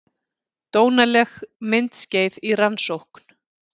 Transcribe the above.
Dónaleg myndskeið í rannsókn